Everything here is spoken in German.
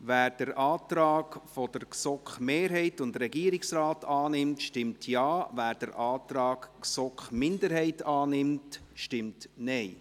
Wer den Antrag von GSoK-Mehrheit und Regierungsrat annimmt, stimmt Ja, wer den Antrag der GSoK-Minderheit annimmt, stimmt Nein.